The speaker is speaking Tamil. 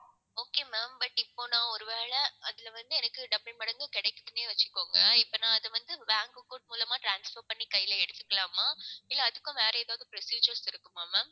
okay ma'am but இப்ப நான் ஒருவேளை அதுல வந்து எனக்கு double மடங்கு கிடைக்குதுன்னே வச்சுக்கோங்க இப்ப நான் அதை வந்து bank account மூலமா transfer பண்ணி கையில எடுத்துக்கலாமா இல்லை அதுக்கும் வேற ஏதாவது procedures இருக்குமா ma'am